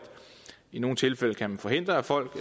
i nogle tilfælde kan man forhindre at folk